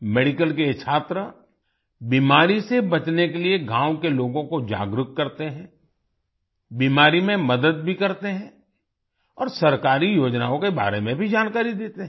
medical के ये छात्र बीमारी से बचने के लिए गाँव के लोगों को जागरूक करते हैं बीमारी में मदद भी करते हैं औरसरकारी योजनाओं के बारे में भी जानकारी देते हैं